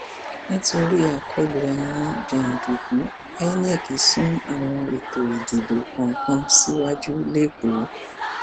nítorí àkọlù àwọn jàǹdùkú inec sún àwọn ètò ìdìbò kan kan síwájú lẹkọọ